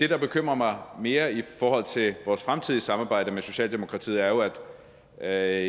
der bekymrer mig mere i forhold til vores fremtidige samarbejde med socialdemokratiet er at